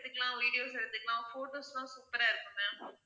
எடுக்கலாம் videos எடுத்துக்கலாம் photos லாம் super ஆ இருக்கும் ma'am